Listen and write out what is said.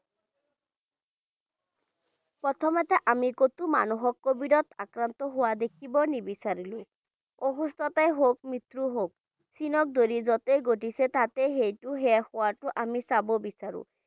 প্ৰথমতে আমি ক'তো মানুহক covid ত আক্ৰান্ত হোৱা দেখিবই নিবিচাৰো অসুস্থতাই হওক, মৃত্যুৱেই হওক চীনৰ দৰে য'তেই ঘটিছে তাতেই সেইটো শেষ হোৱাটো আমি চাব বিচাৰো